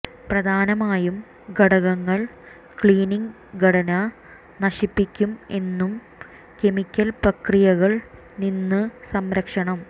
പ്രധാനമായും ഘടകങ്ങൾ ക്ലീനിംഗ് ഘടന നശിപ്പിക്കും എന്നു കെമിക്കൽ പ്രക്രിയകൾ നിന്ന് സംരക്ഷണം